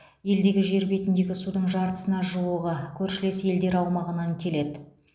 елдегі жер бетіндегі судың жартысына жуығы көршілес елдер аумағынан келеді